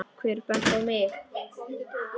Hver benti á mig?